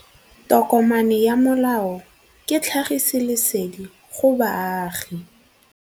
Tokomane ya molao ke tlhagisi lesedi go baagi.